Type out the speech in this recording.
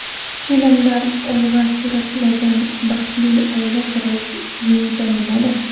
Filmda olg‘a surilgan baxtli oila siri sizningcha nimada?